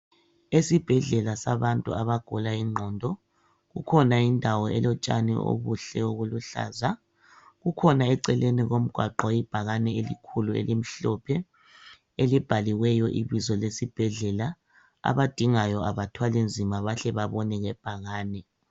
Esibhedlela sabantu abagula inqondo kukhona indawo elotshani obuhle obuluhlaza kukhona eceleni komgwaqo ibhakani elikhulu elimhlophe elibhaliweyo ibizo lesibhedlela abadingayo abathwali nzima bahle babone ibhakani.